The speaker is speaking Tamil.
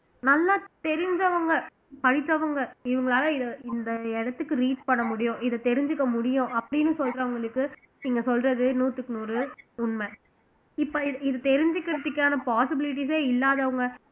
நல்லா தெரிஞ்சவங்க படித்தவங்க இவங்களால இந்த இடத்துக்கு reach பண்ண முடியும் இத தெரிஞ்சுக்க முடியும் அப்படீன்னு சொல்றவங்களுக்கு நீங்க சொல்றது நூத்துக்கு நூறு உண்மை இது இப்ப தெரிஞ்சுக்கறதுக்கான possibilities ஏ இல்லாதவங்க